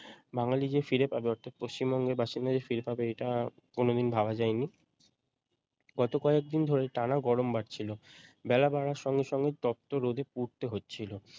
বাঙালি যে ফিরে পাবে অর্থাৎ পশ্চিমবঙ্গের বাসিন্দা যে ফিরে পাবে এটা কোনদিন ভাবা যায়নি গত কয়েক দিন ধরে টানা গরম বাড়ছিল বেলা বাড়ার সঙ্গে সঙ্গে তপ্ত রোদে পুড়তে হচ্ছিল